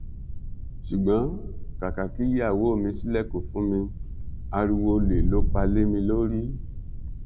ṣùgbọn kàkà kí ìyàwó mi ṣílẹkùn fún mi ariwo ọlẹ ló pa lé mi lórí